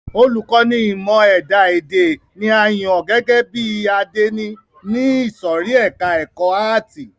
Olùkọ́ni ìmọ ẹ̀dá èdè ni a yàn gẹ́gẹ́ bí àdénì ní ìsòrí ẹka ẹ̀kọ́ àátì.